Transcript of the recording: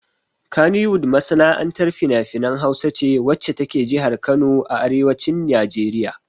Kannywood masana'antar finafinan Hausa ce wacce ta ke jihar Kano a arewacin Najeriya.